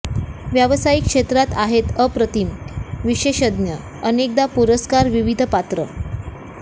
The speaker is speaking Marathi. व्यावसायिक क्षेत्रात आहेत अप्रतीम विशेषज्ञ अनेकदा पुरस्कार विविध पात्र